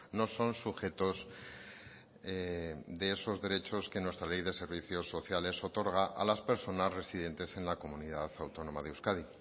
no son sujetos de esos derechos que nuestra ley de servicios sociales otorga a las personas residentes en la comunidad autónoma de euskadi